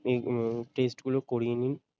এই um test গুলো করিয়ে নিন ।